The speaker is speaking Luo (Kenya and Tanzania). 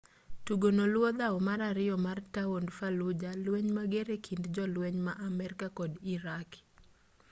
tugono luwo dhawo mar ariyo mar taond fallujah lueny mager ekind jolueny ma amerika kod iraqi